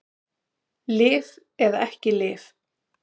Lyf eða ekki lyf